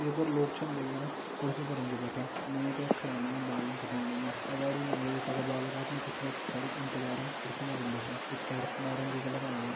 ये पर लोग छन दिखेणा कुर्शी परन जो बैठ्यां नाई यख खड़ा होयां बालन काटोंण लग्यां अगाड़ी नाई एक का बाल काटणु कुछ लोग पिछाड़ी इंतजारन किर्सी मा छन बैठ्यां भितर नारंगी कलर होयुं।